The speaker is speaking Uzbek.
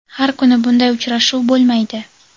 Har kuni bunday uchrashuv bo‘lmaydi.